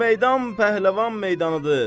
Bu meydan pəhləvan meydanıdır.